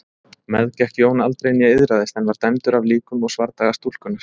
Meðgekk Jón aldrei né iðraðist en var dæmdur af líkum og svardaga stúlkunnar.